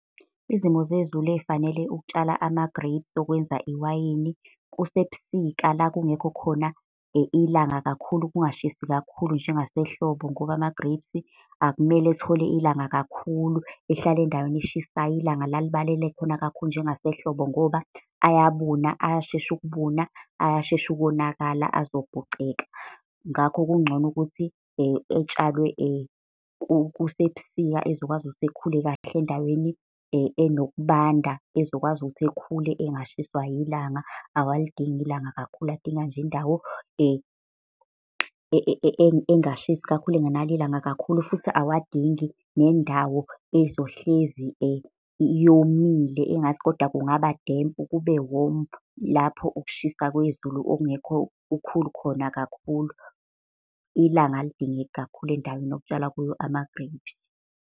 Izimo zezulu ey'fanele ukutshala ama-grapes okwenza iwayini kusebusika la kungekho khona ilanga kakhulu kungashisi kakhulu njengasehlobo. Ngoba ama-grapes akumele athole ilanga kakhulu, ehlala endaweni eshisayo ilanga la libalele khona kakhulu njengase hlobo, ngoba ayabuna, ayashesha ukubuna, ayashesha ukonakala azopoceka. Ngakho kungcono ukuthi etshalwe kusebusika, ezokwazi ukuthi ekhule kahle endaweni enokubanda. Ezokwazi ukuthi ekhule engashiswa yilanga. Awalidingi ilanga kakhulu, adinga nje indawo engashisi kakhulu engenalo ilanga kakhulu futhi awadingi nendawo ezohlezi yomile engathi kodwa kungaba dempu kube womu. Lapho ukushisa kwezulu okungekho kukhulu khona kakhulu. Ilanga alidingeki kakhulu endaweni okutshalwa kuyo ama-grapes.